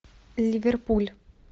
ливерпуль